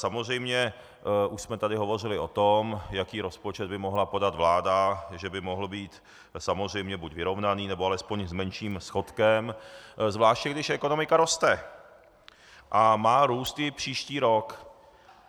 Samozřejmě už jsme tady hovořili o tom, jaký rozpočet by mohla podat vláda, že by mohl být samozřejmě buď vyrovnaný, nebo alespoň s menším schodkem, zvláště když ekonomika roste a má růst i příští rok.